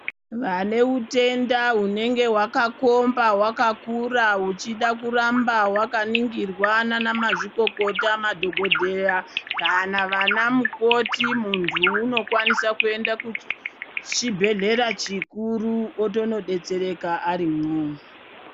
Vane utenda unenge wakakomba wakakura uchida kuramba wakaningirwa nana mazvikokota kana madhokodheya kana vana mukoti mundu unokwanisa kuenda kuchibhedhlera chikuru otonobetsereka ari imwomo.